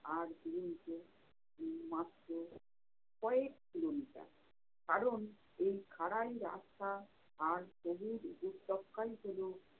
আর মাত্র কয়েক kilometer কারণ এই খাঁড়াই রাস্তা আর সবুজ উপত্যকাই হলো।